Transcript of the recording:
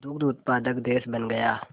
दुग्ध उत्पादक देश बन गया